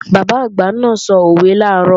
Bàbá àgbà náà sòwe làárọ̀